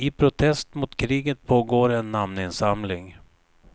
I protest mot kriget pågår en namninsamling.